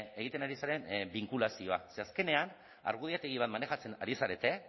egiten ari zaren binkulazioa ze azkenean argudiategi bat manejatzen ari zarete